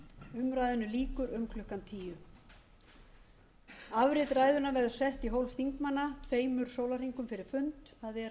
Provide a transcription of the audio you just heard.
mín umræðunni lýkur um klukkan tíu afrit ræðunnar verður sett í hólf þingmanna tveimur sólarhringum fyrir fund það er á laugardaginn